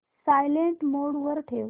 silent mode वर ठेव